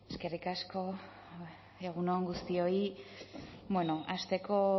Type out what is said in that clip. eskerrik asko egun on guztioi bueno hasteko